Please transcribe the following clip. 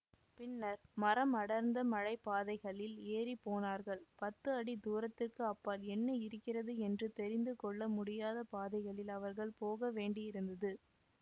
பின்னர் மரமடர்ந்த மலைப்பாதைகளில் ஏறி போனார்கள் பத்து அடி தூரத்திற்க்கு அப்பால் என்ன இருக்கிறது என்று தெரிந்து கொள்ள முடியாத பாதைகளில் அவர்கள் போக வேண்டியிருந்தது